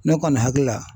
Ne kɔni hakili la